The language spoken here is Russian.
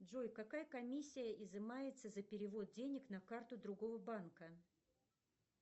джой какая комиссия изымается за перевод денег на карту другого банка